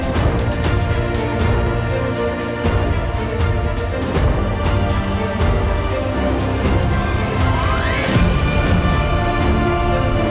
Bu gün texnologiyanın bizə verdiyi üstünlüklər, bu gücün, bu əjdahanın nə qədər güclü ola biləcəyini göstərir.